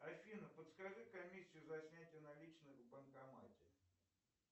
афина подскажи комиссию за снятие наличных в банкомате